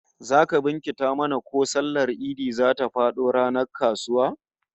Zaka bincika mana ko sallar Idi zata fado ranar kasuwa?